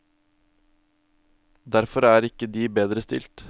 Derfor er ikke de bedre stilt.